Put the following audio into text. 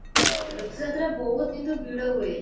ରଥ ଯାତ୍ରା ବହୁତ କିନ୍ତୁ ଭିଡ ହୁଏ